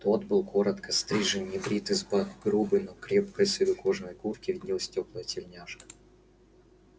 тот был коротко стрижен небрит из-под грубой но крепкой с виду кожаной куртки виднелась тёплая тельняшка